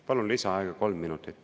Palun lisaaega kolm minutit.